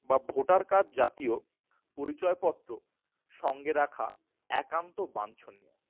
বা voter card জাতীয় পরিচয় পত্র সঙ্গে রাখা একান্ত বাঞ্ছনীয়।